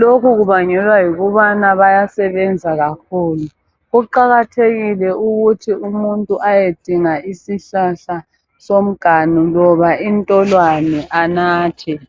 Lokhu kubangelwa yikubana bayasebenza kakhulu kuqakathekile ukuthi umuntu ayedinga isihlahla somganu loba intolwane anathe.